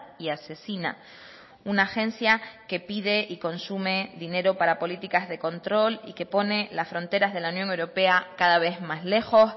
y asesina una agencia que pide y consume dinero para políticas de control y que pone las fronteras de la unión europea cada vez más lejos